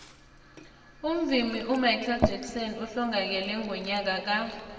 umvumi umichael jackson uhlongakele ngonyaka ka